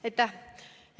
Aitäh!